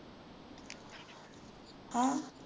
ਹੈਂ?